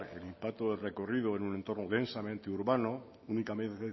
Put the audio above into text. el impacto del recorrido en un entorno densamente urbano únicamente